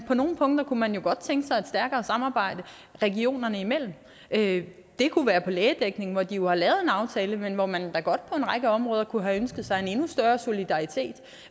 på nogle punkter kunne man jo godt tænke sig et stærkere samarbejde regionerne imellem det det kunne være på lægedækningen hvor de jo har lavet en aftale men hvor man da godt på en række områder kunne have ønsket sig en endnu større solidaritet